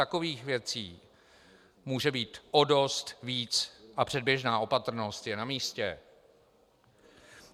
Takových věcí může být o dost víc a předběžná opatrnost je na místě.